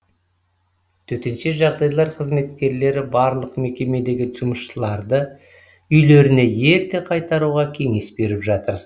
төтенше жағдайлар қызметкерлері барлық мекемедегі жұмысшыларды үйлеріне ерте қайтаруға кеңес беріп жатыр